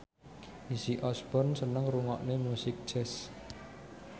Izzy Osborne seneng ngrungokne musik jazz